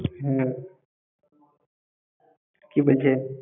হম কি বলছে?